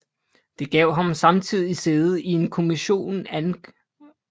Det gav ham samtidig sæde i en kommission ang